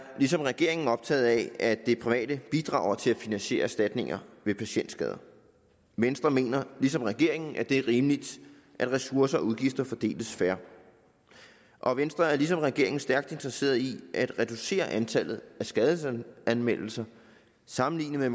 ligesom regeringen optaget af at de private bidrager til at finansiere erstatninger ved patientskader venstre mener ligesom regeringen at det er rimeligt at ressourcer og udgifter fordeles fair og venstre er ligesom regeringen stærkt interesseret i at reducere antallet af skadesanmeldelser sammenlignet med